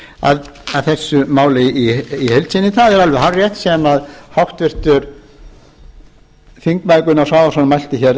þessu máli í heild sinni það er alveg hárrétt sem háttvirtur þingmaður gunnar svavarsson mælti hér